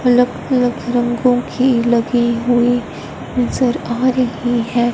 लख लख रंगों की लगी हुई नजर आ रही है।